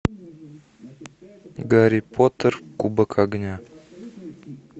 гарри поттер кубок огня